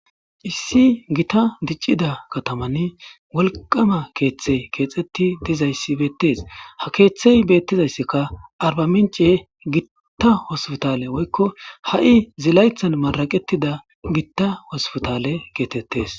Issi gitta dicida kathamani wolqqamma keththete kexetti dizayssi bethes. Ha keeththe betizayssikka Arba mincce gidon gitta hospiththale woykko hi zilaytan marraqethida gitta hospiththale getethes.